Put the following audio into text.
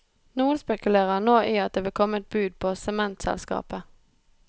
Noen spekulerer nå i at det vil komme et bud på sementselskapet.